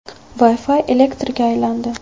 Wi-Fi elektrga aylandi.